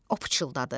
O pıçıldadı.